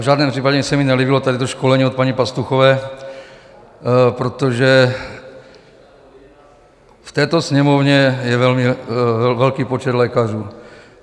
V žádném případě se mi nelíbilo tady to školení od paní Pastuchové, protože v této Sněmovně je velmi velký počet lékařů.